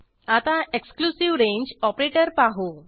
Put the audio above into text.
आता exclusive range operator पाहू